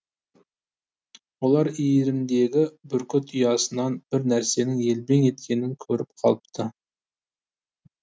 олар иірімдегі бүркіт ұясынан бір нәрсенің елбең еткенін көріп қалыпты